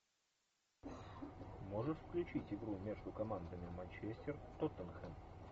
можешь включить игру между командами манчестер тоттенхэм